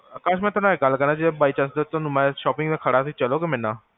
ਆਕਾਸ਼ ਮੈਂ ਤੁਹਾਨੂ ਗਲ ਕਰਾ, ਜੇ by chance ਜੇ ਥੋਨੂ ਮੈਂ shopping ਤੇ ਖੜਾ, ਤੁਸੀਂ ਚਲੋਗੇ ਮੇਰੇ ਨਾਲ?